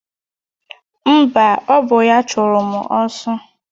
Mba, ọ bụ ya chụrụ mụ ọsọ